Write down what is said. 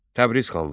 Təbriz xanlığı.